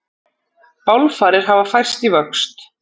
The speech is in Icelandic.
Bálfarir hafa færst í vöxt